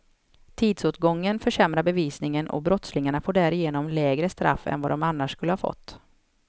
Tidsåtgången försämrar bevisningen och brottslingarna får därigenom lägre straff än vad de annars skulle fått.